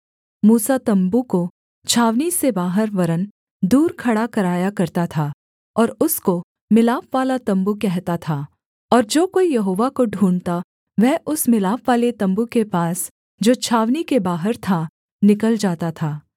मूसा तम्बू को छावनी से बाहर वरन् दूर खड़ा कराया करता था और उसको मिलापवाला तम्बू कहता था और जो कोई यहोवा को ढूँढ़ता वह उस मिलापवाले तम्बू के पास जो छावनी के बाहर था निकल जाता था